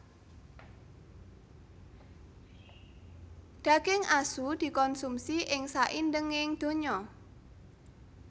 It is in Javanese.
Daging asu dikonsumi ing saindenging donya